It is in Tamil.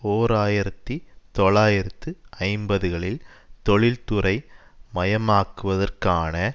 ஓர் ஆயிரத்தி தொள்ளாயிரத்து ஐம்பதுகளில் தொழிற்துறை மயமாக்குவதற்கான